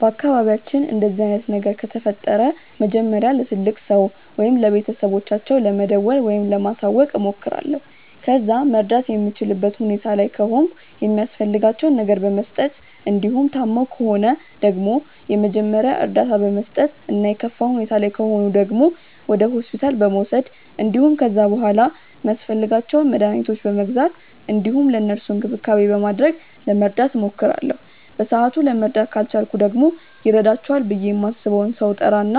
በአካባቢያችን እንደዚህ አይነት ነገር ከተፈጠረ መጀመሪያ ለትልቅ ሰው ወይም ለቤተሰቦቻቸው ለመደወል ወይም ለማሳወቅ እሞክራለሁ። ከዛ መርዳት የምችልበት ሁኔታ ላይ ከሆንኩ የሚያስፈልጋቸውን ነገር በመስጠት እንዲሁም ታመው ከሆነ ደግሞ የመጀመሪያ እርዳታ በመስጠት እና የከፋ ሁኔታ ላይ ከሆኑ ደግሞ ወደ ሆስፒታል በመውሰድ እንዲሁም ከዛ በሗላ ሚያስፈልጓቸውን መድኃኒቶች በመግዛት እንዲሁም ለእነሱም እንክብካቤ በማድረግ ለመርዳት እሞክራለሁ። በሰአቱ ለመርዳት ካልቻልኩ ደግሞ ይረዳቸዋል ብዬ ማስበውን ሰው እጠራ እና